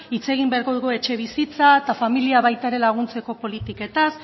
hitz egin beharko dugu etxebizitza eta familia baita ere laguntzeko politiketaz